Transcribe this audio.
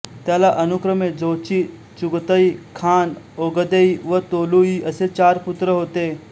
त्याला अनुक्रमे Jochi Chagatai Khan Ogedei व तोलुई असे चार पुत्र होते